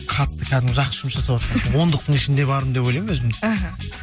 қатты кәдімгі жақсы жұмыс жасаватқан ондықтың ішінде бармын деп ойлаймын өзімді іхі